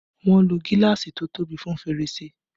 Wọn ló gíláàsì to tóbi fún fèrèsé